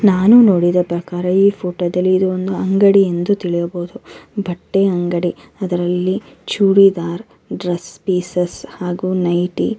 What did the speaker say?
ನಾನು ನೋಡಿದ ಪ್ರಕಾರ ಇದು ಒಂದು ಅಂಗಡಿ ಎಂದು ತಿಳಿಯಬಹುದು ಬಟ್ಟೆ ಅಂಗಡಿ ಅದರಲ್ಲಿ ಚೂಡಿದಾರ್ ಡ್ರೆಸ್ ಪಿಸ್ಸ್ ಹಾಗು ನೈಟಿ --